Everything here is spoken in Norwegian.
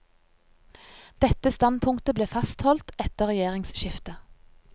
Dette standpunktet ble fastholdt etter regjeringsskiftet.